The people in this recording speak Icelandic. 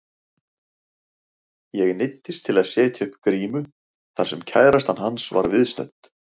Ég neyddist til að setja upp grímu þar sem kærastan hans var viðstödd.